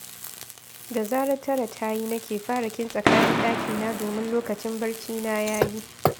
Da zarar tara ta yi nake fara kintsa kayan ɗakina domin lokacin barcina ya yi